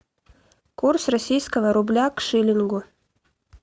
курс российского рубля к шиллингу